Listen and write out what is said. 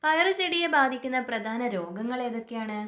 പയറു ചെടിയെ ബാധിക്കുന്ന പ്രധാന രോഗങ്ങൾ ഏതൊക്കെയാണ്?